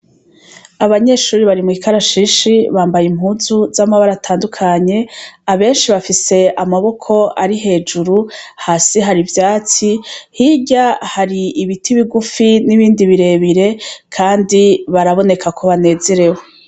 Abanyeshuri bari mw'ikarashishi ,bambaye impunzu z'amabara atandukanye ,abenshi bafise amaboko ari hejuru, hasi hari ivyatsi hirya har'ibiti bigufi n'ibindi birebire, kandi baraboneka ko banezerewe.